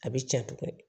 A bɛ cɛ tugun